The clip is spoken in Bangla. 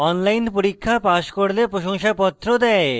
online পরীক্ষা pass করলে প্রশংসাপত্র দেয়